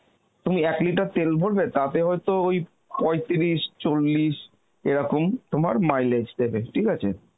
তুমি এক litre তেল ভরবে, টাতে হয়ত ওই পৈতিরিশ চল্লিশ এরকম তোমার mileage দেবে ঠিক আছে?